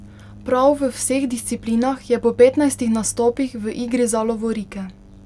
Prav v vseh disciplinah je po petnajstih nastopih v igri za lovorike.